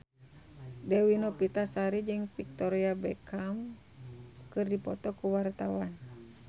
Dewi Novitasari jeung Victoria Beckham keur dipoto ku wartawan